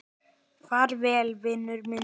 Far vel, vinur minn.